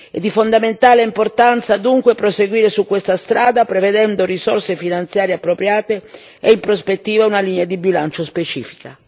È di fondamentale importanza dunque proseguire su questa strada prevedendo risorse finanziarie appropriate e in prospettiva una linea di bilancio specifica.